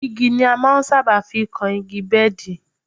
Igi ni a máa ń sábà fi kan igi bẹ́ẹ̀dì